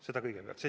Seda kõigepealt.